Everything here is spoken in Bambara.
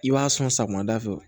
I b'a sɔn sɔgɔma da fɛ